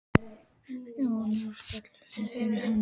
Og nú skálum við fyrir henni.